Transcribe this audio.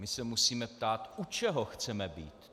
My se musíme ptát, u čeho chceme být.